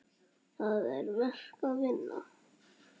Það er verk að vinna.